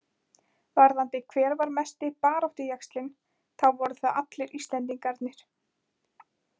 Varðandi hver var mesti baráttujaxlinn þá voru það allir Íslendingarnir.